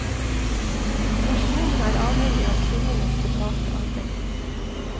Nasjonen er avhengig av kvinnenes betalte arbeid.